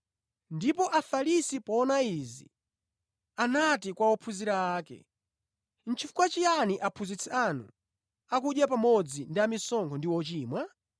Ndipo Afarisi poona izi, anati kwa ophunzira ake, “Nʼchifukwa chiyani Aphunzitsi anu akudya pamodzi ndi amisonkho ndi ochimwa?”